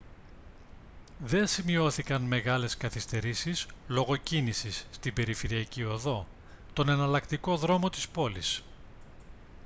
δεν σημειώθηκαν μεγάλες καθυστερήσεις λόγω κίνησης στην περιφερειακή οδό τον εναλλακτικό δρόμο της πόλης